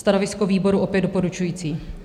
Stanovisko výboru: opět doporučující.